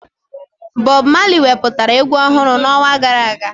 Bọb Mali wepụtara egwu ọhụrụ n'ọnwa gara aga